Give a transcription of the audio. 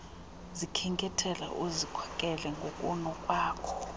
zikhenkethela uzikhokela ngokunokwakho